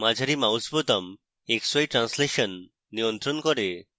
মাঝারি mouse বোতাম xy translation নিয়ন্ত্রণ করে